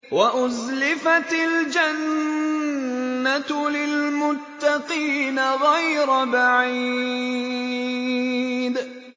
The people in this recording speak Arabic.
وَأُزْلِفَتِ الْجَنَّةُ لِلْمُتَّقِينَ غَيْرَ بَعِيدٍ